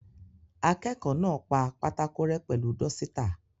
Akẹ́kọ̀ọ́ náà pa pátákò rẹ́ pẹ̀lú dọ́sítà.